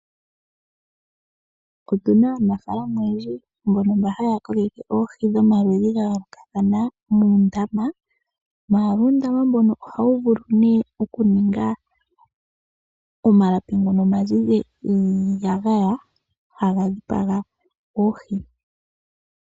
Otuna aanafaalama oyendji mbono mba haya koleke oohi dhomaludhi ga yoolokathana muundama, maala uundama mbono ohawu vulu nee oku ninga omalapi ngono omazizi giiyagaya haga dhipaga oohi.